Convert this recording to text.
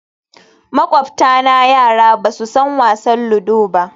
Makwabtana yara ba su san wasan ludo ba